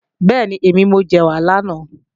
Bẹ́ẹ̀ni, mo jẹ̀wà lánàá